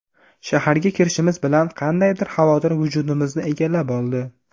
Shaharga kirishimiz bilan qandaydir xavotir vujudimizni egallab oldi.